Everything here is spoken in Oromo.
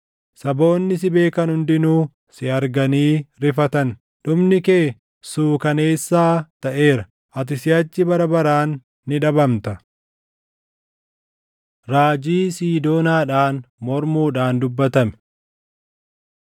Saboonni si beekan hundinuu si arganii rifatan; dhumni kee suukaneessaa taʼeera; ati siʼachi bara baraan ni dhabamta.’ ” Raajii Siidoonaadhaan Mormuudhaan dubbatame